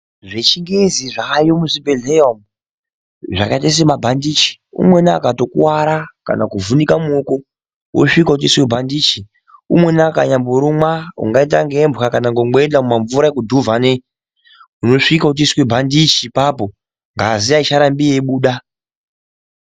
Zvechingezi zvaayo muzvibhedhlera umu zvakaita semabhandichi umweni akatokuvara kana kuvhunika muoko osvike otoiswe bhandichi, umweni akanyamborumwa ungaita ngembwa kana ngomwenga mumamvura ekudhuvhane unosvika uchitoiswe bhandichi ipapo ngazi aicharambe yeibuda.